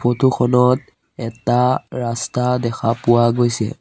Photo খনত এটা ৰাস্তা দেখা পোৱা গৈছে।